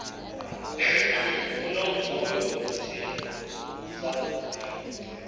unomvuyo ngesidlo sangokuhlwa